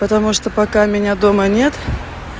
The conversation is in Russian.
потому что пока меня дома нет